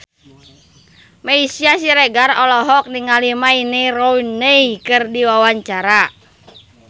Meisya Siregar olohok ningali Wayne Rooney keur diwawancara